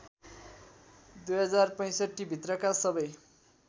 २०६५ भित्रका सबै